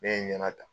Ne ye n ɲɛna ta